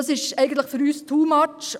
Das ist für uns «too much».